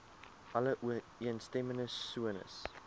alle ooreenstemmende sones